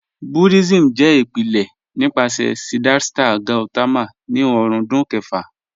Buddhism jẹ ipilẹ̀ nipasẹ̀ Siddhartha Gautama ni ọ̀rúndún kẹ̀fà.